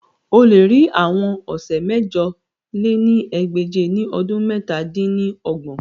O le ri awọn ọsẹ mẹ̀jọ lé ní ẹgbẹ́je ni ọdun mẹ̀ta dín ní ọgbọ̀n